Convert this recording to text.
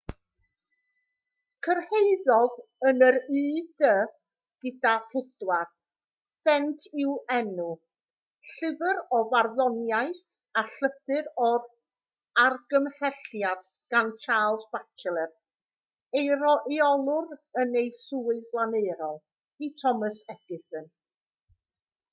cyrhaeddodd yn yr ud gyda 4 sent i'w enw llyfr o farddoniaeth a llythyr o argymhelliad gan charles batchelor ei reolwr yn ei swydd flaenorol i thomas edison